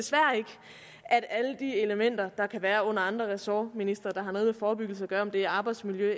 elementer der kan være under andre ressortministre der har noget med forebyggelse at gøre om det er arbejdsmiljø